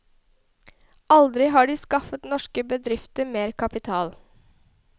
Aldri har de skaffet norske bedrifter mer kapital.